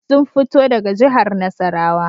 Sun fito daga jihar Nasarawa